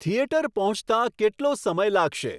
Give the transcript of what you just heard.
theatre પહોંચતા કેટલો સમય લાગશે